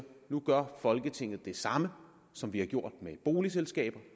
nu gør folketinget det samme som vi har gjort med boligselskaber